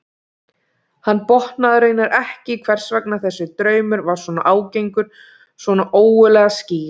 Hann botnaði raunar ekki í hvers vegna þessi draumur var svona ágengur, svona ógurlega skýr.